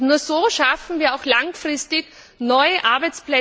Nur so schaffen wir auch langfristig neue Arbeitsplätze in Europa.